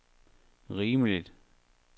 rimeligt